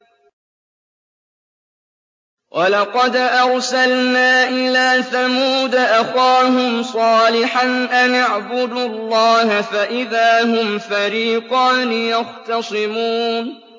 وَلَقَدْ أَرْسَلْنَا إِلَىٰ ثَمُودَ أَخَاهُمْ صَالِحًا أَنِ اعْبُدُوا اللَّهَ فَإِذَا هُمْ فَرِيقَانِ يَخْتَصِمُونَ